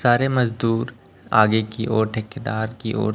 सारे मजदूर आगे की ओर ठेकेदार की ओर--